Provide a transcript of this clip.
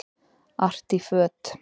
Artí föt